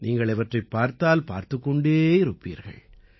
நீங்கள் இவற்றைப் பார்த்தால் பார்த்துக் கொண்டே இருப்பீர்கள்